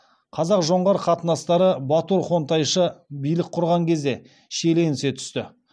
қазақ жоңғар қатынастары батур хонтайшы билік құрған кезде шиеленісе түсті